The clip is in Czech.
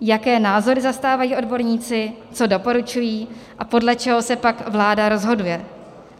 jaké názory zastávají odborníci, co doporučují a podle čeho se pak vláda rozhoduje.